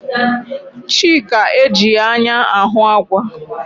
Chika ejighi anya ahụ àgwà.